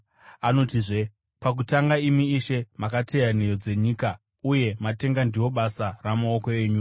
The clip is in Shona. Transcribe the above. Anotizve, “Pakutanga, imi Ishe, makateya nheyo dzenyika, uye matenga ndiwo basa ramaoko enyu.